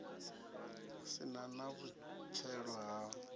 si na na vhupfelo ha